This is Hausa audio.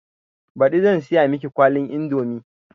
Baɗi zan siya miki kwalin indomi